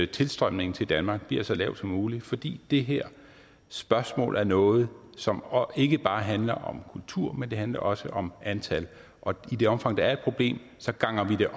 tilstrømningen til danmark bliver så lav som muligt fordi det her spørgsmål er noget som ikke bare handler om kultur men det handler også om antal og i det omfang der er et problem ganger vi det